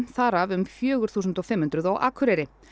þar af um fjögur þúsund fimm hundruð á Akureyri